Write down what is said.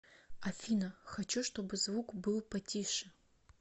афина хочу чтобы звук был потише